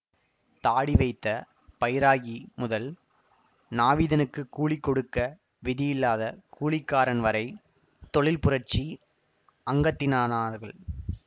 தாடி வைத்த பைராகி முதல் நாவிதனுக்குக் கூலி கொடுக்க விதியில்லாத கூலிக்காரன் வரை தொழில் புரட்சி அங்கத்தினானார்கள்